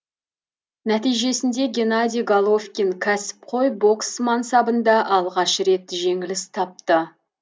нәтижесінде геннадий головкин кәсіпқой бокс мансабында алғаш рет жеңіліс тапты